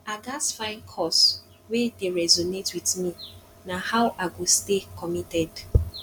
i gats find cause wey dey resonate with me na how i go stay committed